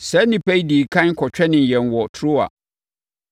Saa nnipa yi dii ɛkan kɔtwɛnee yɛn wɔ Troa.